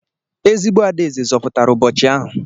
Ezigbo adaeze zọpụtara ụbọchị ahụ.